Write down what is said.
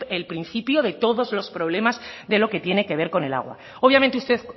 el principio de todos los problemas de lo que tiene que ver con el agua obviamente usted